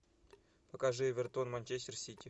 покажи эвертон манчестер сити